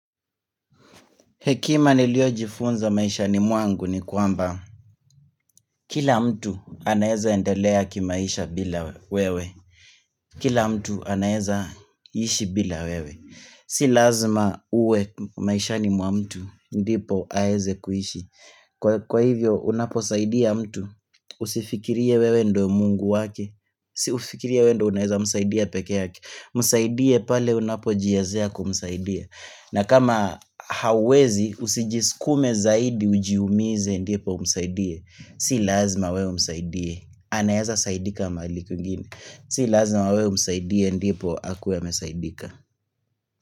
Hekima niliyojifunza maishani mwangu ni kwamba kila mtu anaeza endelea ki maisha bila wewe. Kila mtu anaeza ishi bila wewe. Si lazima uwe maisha ni mwa mtu ndipo aweze kuishi. Kwa hivyo unaposaidia mtu usifikirie wewe ndiyo Mungu wake usifikirie wewe ndiyo unaeza msaidia peke yake msaidie pale unapojiwezea kumsaidia na kama hawezi usijisukume zaidi ujiumize ndipo umsaidie. Si lazima wewe umsaidie. Anaeza saidika mahali kwengine. Si lazima wewe umsaidie ndipo akuwe amesaidika.